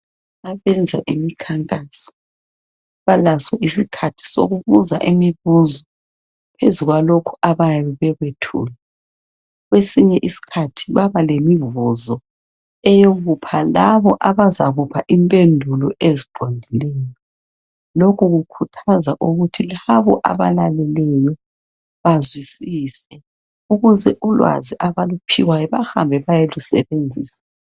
abenza imikhankaso balaso isikhathi sokubuza imibuzo phezu kwalokho abayabe bekwethule kwesinye isikhathi baba lemivuzo eyokupha labo abazakupha impendulo eziqondileyo lokhu kukhuthaza ukuthi labo abalaleleyo bazwisise ukuze ulwazi abaluphiwayo bahambe bayelusebenzisa